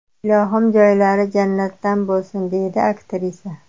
Ilohim, joylari jannatdan bo‘lsin!”, deydi aktrisa.